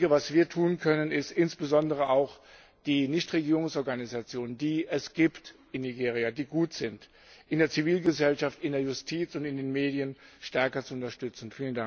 Was wir tun können, ist insbesondere auch, die Nichtregierungsorganisationen, die es in Nigeria gibt, die gut sind, in der Zivilgesellschaft, in der Justiz und in den Medien stärker zu unterstützen.